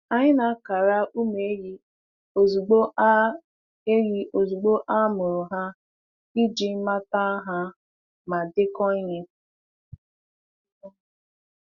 Anyị na-akara ụmụ ehi ozugbo a ehi ozugbo a mụrụ ha iji mata ha ma dekọọ ihe.